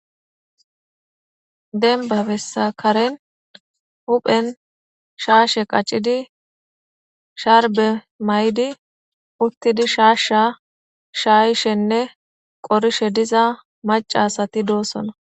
Denbabessakaren huphen shaashe qacidi sharbe may7di uttidi shaashsha shaayishenne qorishe diza macasati doosona.